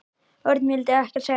Örn vildi ekkert segja um málið.